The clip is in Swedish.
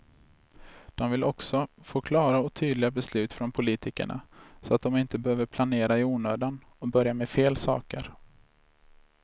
De vill också få klara och tydliga beslut från politikerna, så att de inte behöver planera i onödan och börja med fel saker.